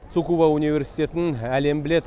цукуба университетін әлем біледі